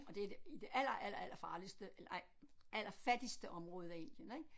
Og det i det i det aller aller allerfarligste eller ej allerfattigste område af Indien ik